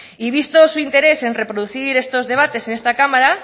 y visto su interés en reproducir estos debates en esta cámara